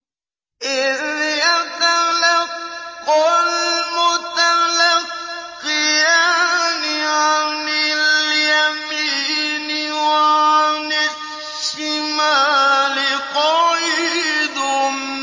إِذْ يَتَلَقَّى الْمُتَلَقِّيَانِ عَنِ الْيَمِينِ وَعَنِ الشِّمَالِ قَعِيدٌ